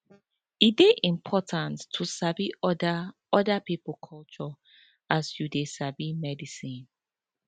e dey important to sabi oda oda pipo culture as you dey sabi medicine